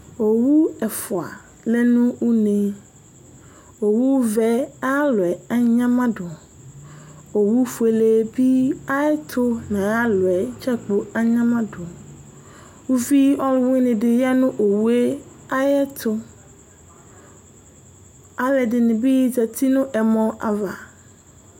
Owu ɛfʋa lɛnu ʋne Owu vɛ ayu alɔɛ anyamaɖu Owu fuele bi ayu ɛtu ŋu ayu alɔ dzakplo anyamaɖu Uvi ɔluwiniɖi yaŋʋ owue ayu ɛtu Alu ɛɖìní bi zɛti ŋu ɛmɔ ava